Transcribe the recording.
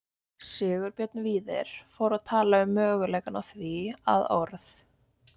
Sigurbjörn Víðir fór að tala um möguleikann á því að orð